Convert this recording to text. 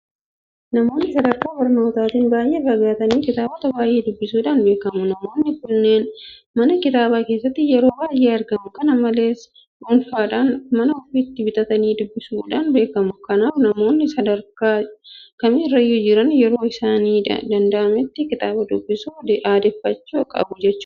Namoonni sadarkaa barnootaatiin baay'ee fagaatan kitaabota baay'ee dubbisuudhaan beekamu. Namoonni kunneen manneen kitaabaa keessatti yeroo baay'ee argamu. Kana malees dhuunfaadhaan mana ofiitti bitatanii dubbisuudhaan beekamu. Kanaaf namoonni sadarkaa kamirrayyuu jiran yeroo isaaniif danda'ametti kitaaba dubbisuu aadeffachuu qabu jechuudha.